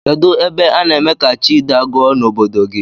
Kedu ebe ana eme ka chi dagụọ na obodo gi?